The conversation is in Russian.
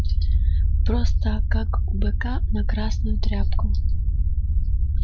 просто как у быка на красную тряпку